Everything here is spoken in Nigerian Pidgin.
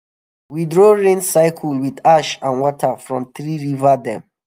we draw rain circle with ash and water from three river dem.